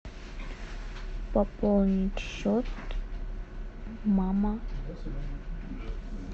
пополнить счет мама